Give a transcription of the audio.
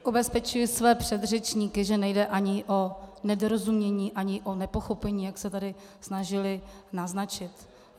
Ubezpečuji své předřečníky, že nejde ani o nedorozumění ani o nepochopení, jak se tady snažili naznačit.